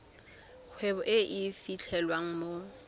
kgwebo e e fitlhelwang mo